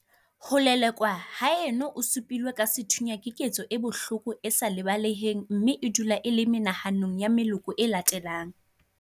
Ho lelekwa haeno o su pilwe ka sethunya keketso e bohloko e sa lebaleheng mme e dula e le menahanong ya meloko e latelang.